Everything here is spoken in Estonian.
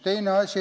Teine asi.